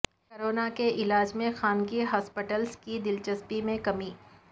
corona کے علاج میں خانگی ہاسپٹلس کی دلچسپی میں کمی